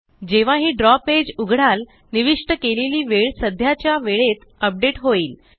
जेव्हाही द्रव पेज उघडाल निविष्ट केलेली वेळ सध्याच्या वेळेत अपडेट होईल